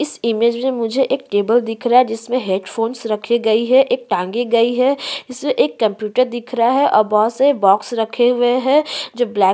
इस इमेज में मुझे एक टेबल दिख रहा है जिसमे हैडफ़ोन्स रखे गयी है एक टांगे गई है जिसमे एक कंप्यूटर दिख रहा है और बहोत से बॉक्स रखे हुए हैं जो ब्लैक --